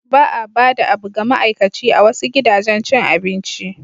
Ba a bada a bu ga ama'aikaci a wasu gidajen cin abinci.